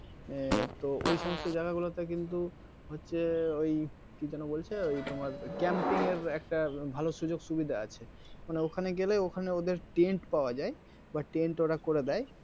এর তো ওই সমস্ত জায়গা গুলোতে কিন্তু হচ্ছে ওই কি যেন বলছে ওই তোমার camping এর একটা ভালো সুযোক সুবিধা আছে কারণ ওখানে গেলে ওখানে ওদের tent পাওয়া যায় বা tent ওরা করে দেয়